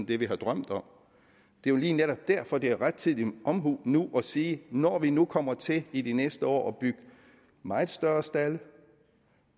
det vi har drømt om det er jo lige netop derfor det er rettidig omhu nu at sige når vi nu kommer til i de næste år at bygge meget større stalde